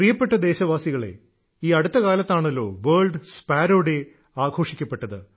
പ്രിയപ്പെട്ട ദേശവാസികളേ ഈ അടുത്ത കാലത്താണല്ലോ വേൾഡ് സ്പാരോ ഡേ ആഘോഷിക്കപ്പെട്ടത്